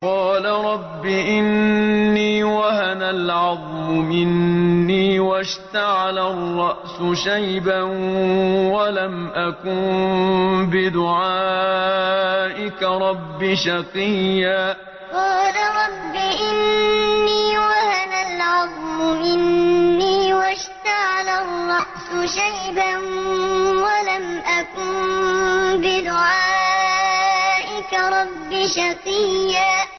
قَالَ رَبِّ إِنِّي وَهَنَ الْعَظْمُ مِنِّي وَاشْتَعَلَ الرَّأْسُ شَيْبًا وَلَمْ أَكُن بِدُعَائِكَ رَبِّ شَقِيًّا قَالَ رَبِّ إِنِّي وَهَنَ الْعَظْمُ مِنِّي وَاشْتَعَلَ الرَّأْسُ شَيْبًا وَلَمْ أَكُن بِدُعَائِكَ رَبِّ شَقِيًّا